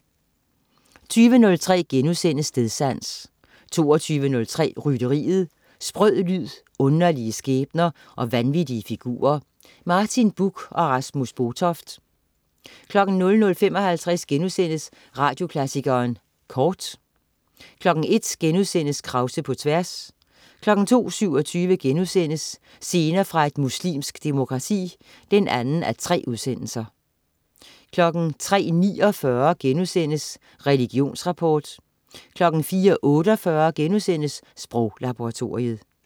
20.03 Stedsans* 22.03 Rytteriet. Sprød lyd, underlige skæbner og vanvittige figurer. Martin Buch og Rasmus Botoft 00.55 Radioklassikeren Kort* 01.00 Krause på tværs* 02.27 Scener fra et muslimsk demokrati 2:3* 03.49 Religionsrapport* 04.48 Sproglaboratoriet*